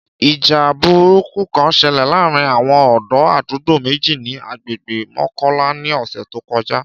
Ìjà burúkú kan ṣẹlẹ̀ láàárín àwọn ọ̀dọ́ àdúgbò méjì ni àgbègbè Mọ́kọ́lá ní ọ̀sẹ̀ tó kọjá